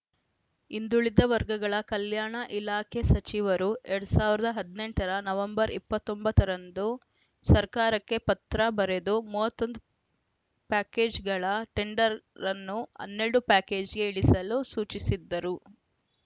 ಹಿಂದುಳಿದ ವರ್ಗಗಳ ಕಲ್ಯಾಣ ಇಲಾಖೆ ಸಚಿವರು ಎರಡ್ ಸಾವಿರದ ಹದಿನೆಂಟ ರ ನವೆಂಬರ್ ಇಪ್ಪತ್ತ್ ಒಂಬತ್ತ ರಂದು ಸರ್ಕಾರಕ್ಕೆ ಪತ್ರ ಬರೆದು ಮೂವತ್ತ್ ಒಂದು ಪ್ಯಾಕೆಜ್‌ಗಳ ಟೆಂಡರನ್ನು ಹನ್ನೆರಡು ಪ್ಯಾಕೇಜ್‌ಗೆ ಇಳಿಸಲು ಸೂಚಿಸಿದ್ದರು